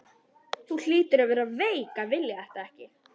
Þú hlýtur að vera veik að vilja þetta ekki!